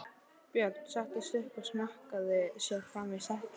Björn settist upp og mjakaði sér fram í setinu.